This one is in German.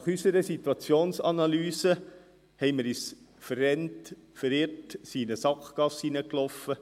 Nach unserer Situationsanalyse haben wir uns verrannt, verirrt, sind in eine Sackgasse gelaufen.